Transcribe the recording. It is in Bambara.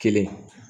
Kelen